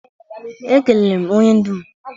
Ekelere m onye du m.